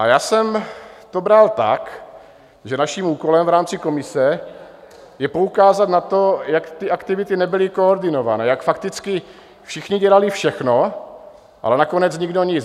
A já jsem to bral tak, že naším úkolem v rámci komise je poukázat na to, jak ty aktivity nebyly koordinované, jak fakticky všichni dělali všechno, ale nakonec nikdo nic.